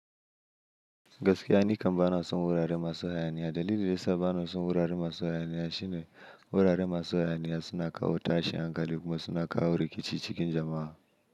Gaskiya, ni kam bana son wurare masu hayaniya. Dalilin da yasa bana son wurare masu hayaniya shine wurare masu hayaniya suna kawo tashin hankali kuma suna kawo rikici cikin jama'a.